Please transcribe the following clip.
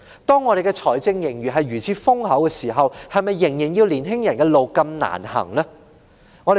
本港財政盈餘現時如此豐厚，為何仍要年青人走如此艱難的路？